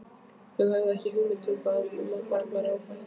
Þau höfðu ekki hugmynd um að annað barn væri ófætt.